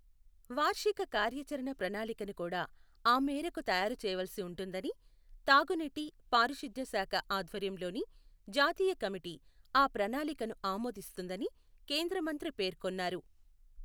వార్షిక కార్యాచరణ ప్రణాళికను కూడా ఆ మేరకు తయారు చేయవలసి ఉంటుందని, తాగునీటి, పారిశుద్ధ్య శాఖ ఆధ్వర్యంలోని జాతీయ కమిటీ ఆ ప్రణాళికను ఆమోదిస్తుందని కేంద్ర మంత్రి పేర్కొన్నారు.